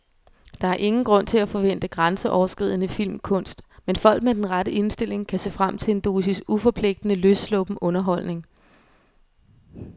Der er ingen grund til at forvente grænseoverskridende filmkunst, men folk med den rette indstilling kan se frem til en dosis uforpligtende, løssluppen underholdning.